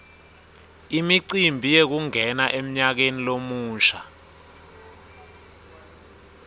imicimbi yekungena emnyakeni lomusha